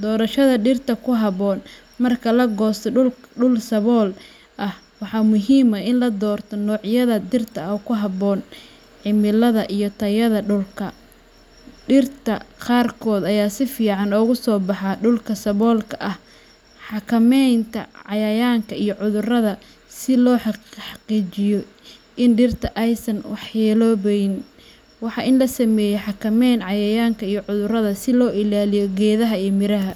Doorashada Dhirta Ku Habboon, Marka la goosto dhul sabool ah, waxaa muhiim ah in la doorto noocyada dhirta ee ku habboon cimilada iyo tayada dhulka. Dhirta qaarkood ayaa si fiican uga soo baxa dhulka saboolka ah. Xakameynta Cayayaanka iyo Cudurrada, Si loo xaqiijiyo in dhirta aysan waxyeeloobeynin, waa in la sameeyaa xakameyn cayayaanka iyo cudurrada si loo ilaaliyo geedaha iyo miraha.